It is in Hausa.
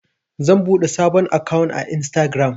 zan buɗe sabon akawun a instagiram